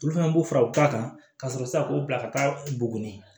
Olu fɛnɛ b'u fara u ta kan ka sɔrɔ sisan k'u bila ka taa buguni